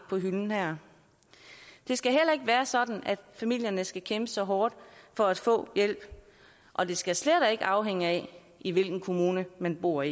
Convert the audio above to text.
på hylden her det skal heller ikke være sådan at familierne skal kæmpe så hårdt for at få hjælp og det skal slet ikke være afhængigt af i hvilken kommune man bor